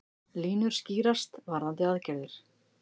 Línur skýrast varðandi aðgerðir